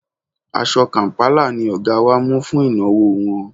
Aṣọ kàm̀pálà ni Ọ̀ga wa mú fún ìnáwó wọn